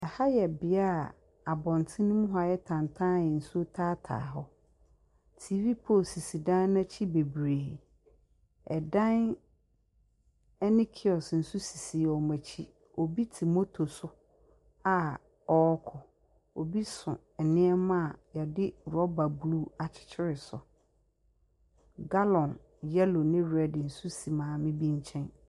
Ha yɛ bea a abɔnten mu hɔ ayɛ tantan a nsuo taataa hɔ. TV pole nso sisi dan n’akyi bebree. Dan ne kiɔso bebree nso sisi wɔn akyi, obi te moto so a ɔrekɔ, obi so nneɛma a yɛde rɔba blue akyekyere so. Gallon yellow ne red nso si maame bi nkyɛn.